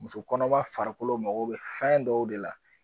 Musokɔnɔma farikolo mago bɛ fɛn dɔw de la.